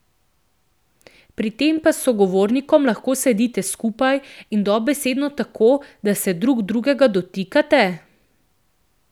Pri tem pa s sogovornikom lahko sedite skupaj in dobesedno tako, da se drug drugega dotikate?